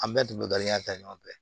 An bɛɛ tun bɛ dɔnija ta ɲɔgɔn fɛ